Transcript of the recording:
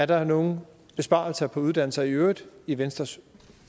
der er nogle besparelser på uddannelse i øvrigt i venstres